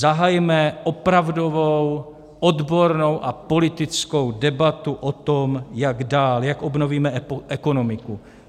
Zahajme opravdovou odbornou a politickou debatu o tom, jak dál, jak obnovíme ekonomiku.